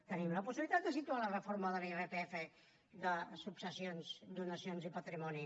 tenim la possibilitat de situar la reforma de l’irpf de successions donacions i patrimoni